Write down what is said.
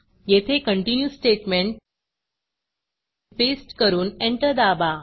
येथे continue statement paste करून enter दाबा